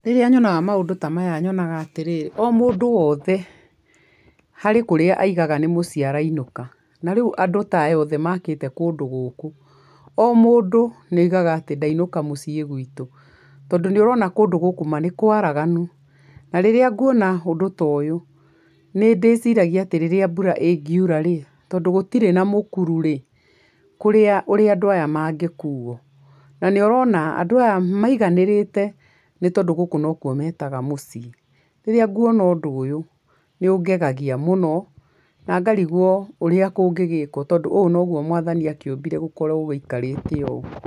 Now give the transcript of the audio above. Rĩrĩa nyonaga maũndũ ta maya nyonaga atĩrĩrĩ, o mũndũ wothe harĩ kũrĩa augaga nĩ mũciĩ arainũka, na rĩu andũ ta aya othe makĩte kũndũ gũkũ, o mũndũ nĩ augaga atĩ, "ndainuka mũciĩ gwitũ", tondũ nĩ ũrona kũndũ ta gũkũ ma nĩ kwaraganu, na rĩrĩa nguona ũndũ ta ũyũ nĩ ndĩciragia atĩ rĩrĩa mbũra ĩngiura rĩ, tondũ gũtire na mũkuru rĩ, ũrĩa andũ aya mangĩkuuo, na nĩ ũrona andũ aya maiganĩrĩte, nĩ tondũ gũkũ nokuo metaga mũciĩ, rĩrĩa nguona undũ ũyũ nĩ ũngegagia mũno na ngarigwo ũrĩa kũngĩgĩkwo, tondũ ũũ noguo Mwathani akĩũmbire gũkowo gũikarĩte ũũ.